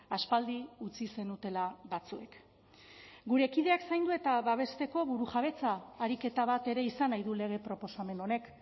aspaldi utzi zenutela batzuek gure kideak zaindu eta babesteko burujabetza ariketa bat ere izan nahi du lege proposamen honek